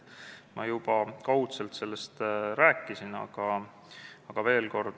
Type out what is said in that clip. Ma juba kaudselt sellest rääkisin, aga räägin veel kord.